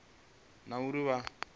na uri vha i laule